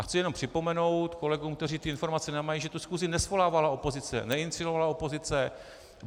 A chci jenom připomenout kolegům, kteří ty informace nemají, že tu schůzi nesvolávala opozice, neiniciovala opozice.